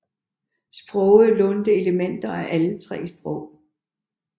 Sproget lånte elementer fra alle tre sprog